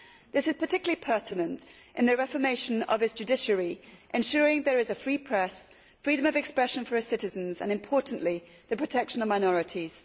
This is particularly pertinent in the reformation of its judiciary, ensuring there is a free press, freedom of expression for its citizens, and importantly the protection of minorities.